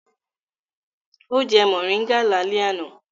Ó jẹ mòríngà lálẹ́ àná.